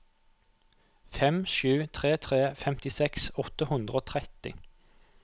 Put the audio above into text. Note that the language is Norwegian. fem sju tre tre femtiseks åtte hundre og tretti